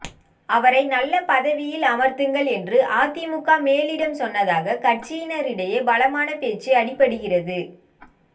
அவரை நல்ல பதவியில் அமர்த்துங்கள் என்று அதிமுக மேலிடம் சொன்னதாக கட்சியினரிடையே பலமான பேச்சு அடிபடுகிறது